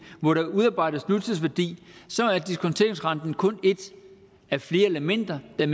hvor der udarbejdes nutidsværdi er diskonteringsrenten kun et af flere elementer der